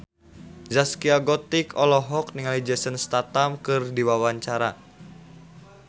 Zaskia Gotik olohok ningali Jason Statham keur diwawancara